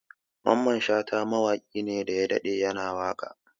Mamman Shata mawaƙi ne daya daɗe ya na waƙa